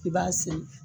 I b'a sen